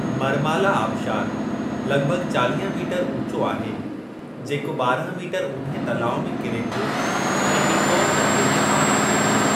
मरमाला आबिशारु लॻिभॻि चालीह मीटर ऊचो आहे जेको बारहं मीटर ऊन्हे तलाउ में किरे थो ऐं टीकॉन नदीअ खे पाणी ॾिए थो।